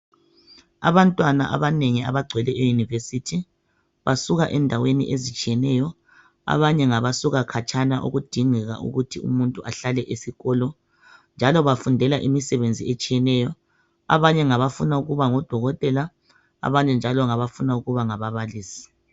Abantwana abanengi abagcwele euniversity basuka endaweni ezitshiyeneyo abanye ngabasuka khatshana okudingeka ukuthi umuntu ahlale esikolo njalo bafundela imisebenzi etshiyeneyo abanye ngabafuna ukuba ngodokotela abanye njalo ngabafuna ukuba ngababalisi.